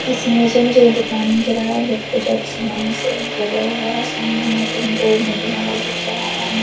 इस इमेज में से मुझे एक दुकान नजर आ रहा है जो की पूजा के सामान --